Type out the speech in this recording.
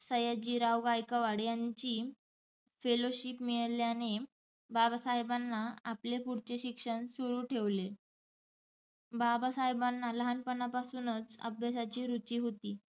सयाजी राव गायकवाड यांची fellowship मिळाल्याने बाबासाहेबांना आपले पुढचे शिक्षण सुरू ठेवले. बाबासाहेबांना लहानपणापासुनच अभ्यासाची रूची होती